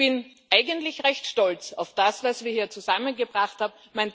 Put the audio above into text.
Ich bin eigentlich recht stolz auf das, was wir hier zusammengebracht haben.